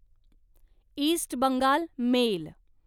east Bengal mail